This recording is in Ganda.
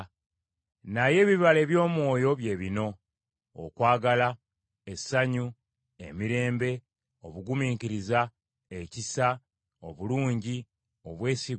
Naye ebibala eby’Omwoyo bye bino: okwagala, essanyu, emirembe, obugumiikiriza, ekisa, obulungi, obwesigwa,